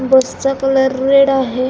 बस चा colour red आहे.